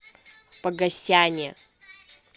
погосяне